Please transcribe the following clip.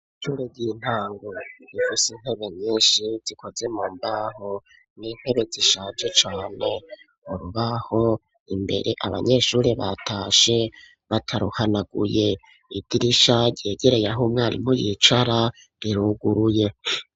Ishure ry'intango rifise intebe nyishi zokoze mu mbaho, n'intebe zishaje cane ,urubaho ruri imbere abanyeshure batashe bataruhanaguye, indirisha ryegereye ah'umwarimu yicara riruguruye.